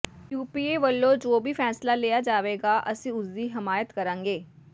UPA ਵੱਲੋਂ ਜੋ ਵੀ ਫ਼ੈਸਲਾ ਲਿਆ ਜਾਵੇਗਾ ਅਸੀਂ ਉਸ ਦੀ ਹਮਾਇਤ ਕਰਾਂਗੇ